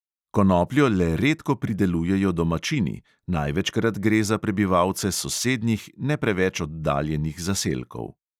Konopljo le redko pridelujejo domačini, največkrat gre za prebivalce sosednjih, ne preveč oddaljenih zaselkov.